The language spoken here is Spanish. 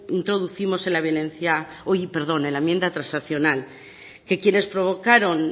introducimos en la enmienda transaccional que quienes provocaron